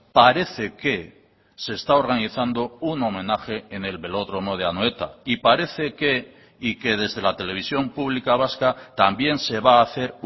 parece que se está organizando un homenaje en el velódromo de anoeta y parece que y que desde la televisión pública vasca también se va a hacer